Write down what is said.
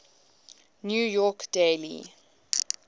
new york daily